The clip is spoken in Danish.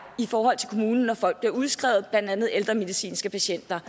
i forhold til kommunen når folk bliver udskrevet blandt andet ældre medicinske patienter